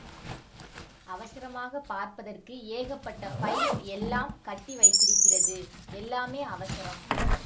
அவசரமாக பார்ப்பதற்கு ஏகப்பட்ட ஃபைல் எல்லாம் கட்டி வைத்திருக்கிறது எல்லாமே அவசரம்